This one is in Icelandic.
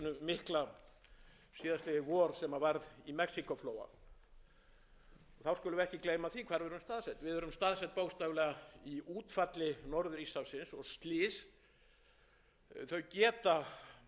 mikla síðastliðið vor sem varð í mexíkóflóa þá skulum við ekki gleyma því hvað við erum staðsett við erum staðsett bókstaflega í útfalli norður íshafsins og slys geta fyrir tilstilli kraftmikilla strauma vestan